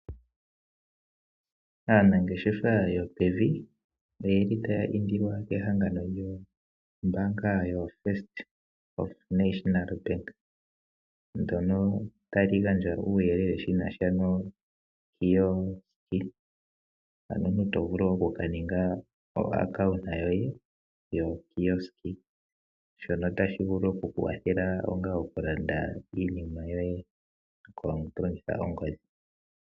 Aanangeshefa yopevi oyeli taya indilwa kehangano lyombaanga yoFirst National Bank, ndono tali gandja uuyelele shina sha nokiosk mono omuntu tovulu oku ka ninga epandja lyoye yokioski shono tashi vulu oku ku kwathela onga oku landa iinima yoye to longitha ongodhi.